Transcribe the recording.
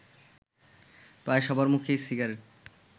প্রায় সবার মুখেই সিগারেট